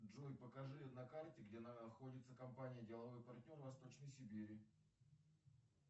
джой покажи на карте где находится компания деловой партнер восточной сибири